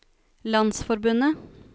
landsforbundet